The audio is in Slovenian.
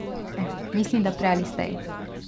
Mislim, da prej ali slej.